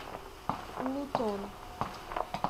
лутон